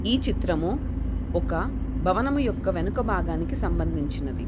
ఈ చిత్రం ఒక భవనము యొక్క వెనుక భాగానికి సంబందించినది.